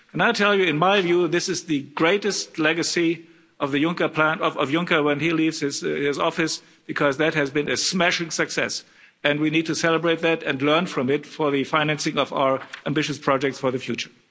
And I'll tell you, in my view, this is the greatest legacy of President Juncker when he leaves his office because that has been a smashing success and we need to celebrate that and learn from it for the financing of our ambitious projects for the future.